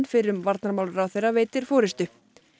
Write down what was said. fyrrum varnarmálaráðherra veitir forystu